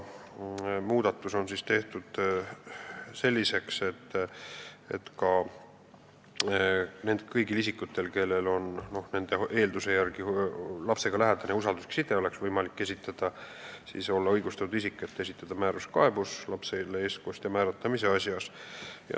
Muudatus on tehtud selliseks, et kõigil isikutel, kellel on lapsega lähedane ja usalduslik side, oleks võimalik olla õigustatud isik, et esitada määruskaebus lapsele eestkostja määramise asjas.